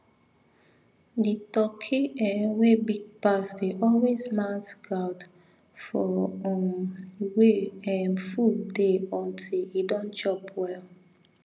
the turkey um wey big pass dey always mount guard for um wey um food dey until e don chop well